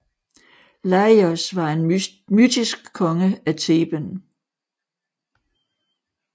Laïos var en mytisk konge af Theben